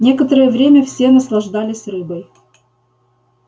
некоторое время все наслаждались рыбой